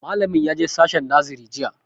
Malamin ya je sashen nasare jiya